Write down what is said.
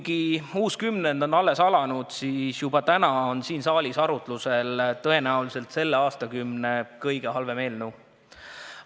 Kuigi uus kümnend on alles alanud, siis juba täna on siin saalis arutusel tõenäoliselt selle aastakümne kõige halvem eelnõu.